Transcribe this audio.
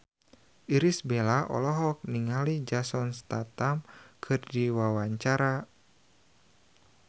Irish Bella olohok ningali Jason Statham keur diwawancara